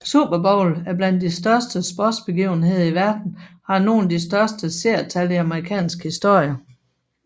Super Bowl er blandt de største sportsbegivenheder i verden og har nogle af de største seertal i amerikansk historie